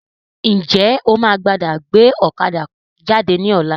Ǹjẹ́ o máa padà gbé ọ̀kadà jáde ní ọ̀la?